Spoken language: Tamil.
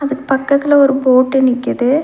அதுக்கு பக்கத்துல ஒரு போட்டு நிக்கிது.